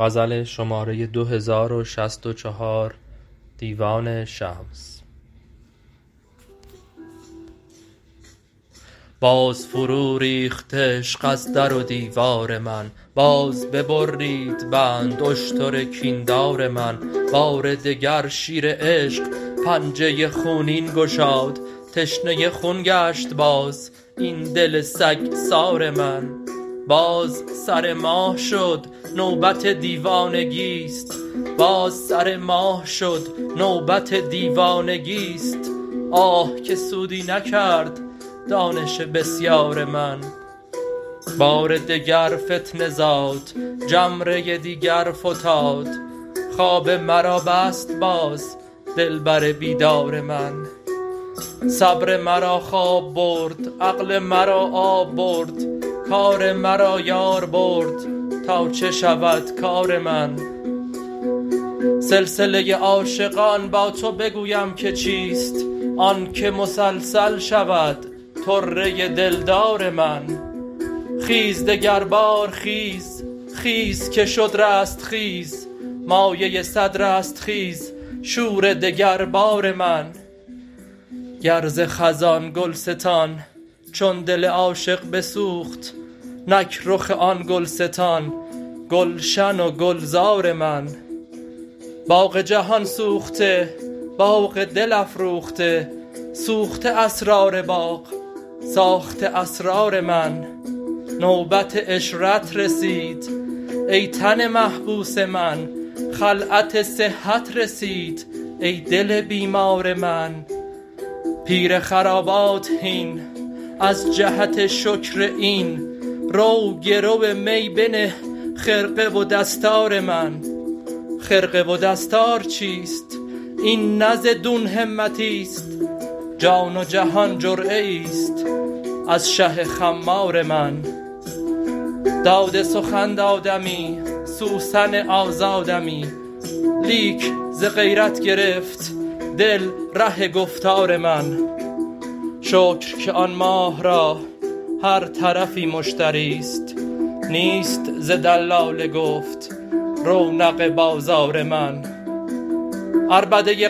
باز فروریخت عشق از در و دیوار من باز ببرید بند اشتر کین دار من بار دگر شیر عشق پنجه خونین گشاد تشنه خون گشت باز این دل سگسار من باز سر ماه شد نوبت دیوانگی است آه که سودی نکرد دانش بسیار من بار دگر فتنه زاد جمره دیگر فتاد خواب مرا بست باز دلبر بیدار من صبر مرا خواب برد عقل مرا آب برد کار مرا یار برد تا چه شود کار من سلسله عاشقان با تو بگویم که چیست آنک مسلسل شود طره دلدار من خیز دگربار خیز خیز که شد رستخیز مایه صد رستخیز شور دگربار من گر ز خزان گلستان چون دل عاشق بسوخت نک رخ آن گلستان گلشن و گلزار من باغ جهان سوخته باغ دل افروخته سوخته اسرار باغ ساخته اسرار من نوبت عشرت رسید ای تن محبوس من خلعت صحت رسید ای دل بیمار من پیر خرابات هین از جهت شکر این رو گرو می بنه خرقه و دستار من خرقه و دستار چیست این نه ز دون همتی است جان و جهان جرعه ای است از شه خمار من داد سخن دادمی سوسن آزادمی لیک ز غیرت گرفت دل ره گفتار من شکر که آن ماه را هر طرفی مشتری است نیست ز دلال گفت رونق بازار من عربده